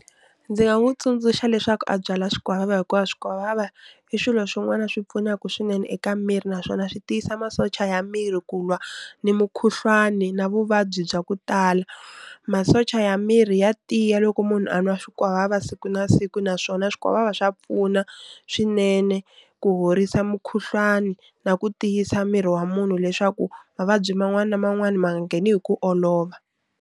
Ndzi nga n'wu tsundzuxa leswaku a byala swikwavava hikuva swikwavava i swilo swin'wana swi pfunaku swinene eka miri naswona swi tiyisa masocha ya miri ku lwa ni mukhuhlwani na vuvabyi bya ku tala. Masocha ya miri ya tiya loko munhu a nwa swikwavava siku na siku naswona swikwavava swa pfuna swinene ku horisa mukhuhlwani na ku tiyisa miri wa munhu leswaku mavabyi man'wani na man'wani ma nga ngheni hi ku olova.